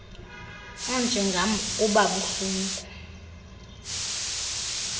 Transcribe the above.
onjengam uba buhlungu